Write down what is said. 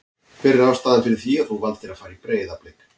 Hver er ástæðan fyrir því að þú valdir að fara í Breiðablik?